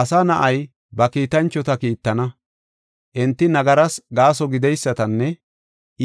Asa Na7ay ba kiitanchota kiittana. Enti nagaras gaaso gideysatanne